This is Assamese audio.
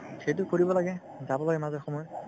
এইটো কৰিব লাগে যাব লাগে মাজে সময়ে